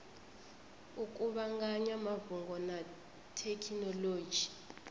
u kuvhanganya mafhungo na thekhinolodzhi